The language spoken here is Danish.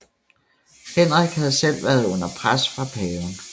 Henrik havde selv været under pres fra paven